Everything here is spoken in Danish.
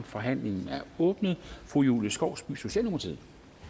forhandlingen er åbnet fru julie skovsby socialdemokratiet